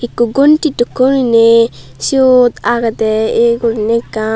ekku gonti dokkeu guriney siyot agedey yea guriney ekkan.